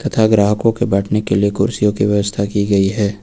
तथा ग्राहकों के बैठने के लिए कुर्सियों की व्यवस्था की गई है।